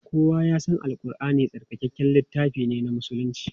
Kowa ya san Al Ƙurʼani tsarkakakken littafi ne na musulunci.